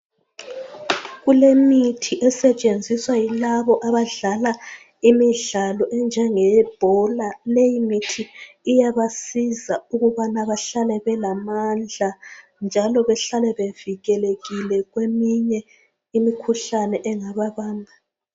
Kulemithi esetshenziswa yilabo abadlala imidlalo enjenge yebhola leyi mithi iyabanceda ukubana bahlale belamandla njalo behlale bevikelekile kweminye imikhuhlane engababamba.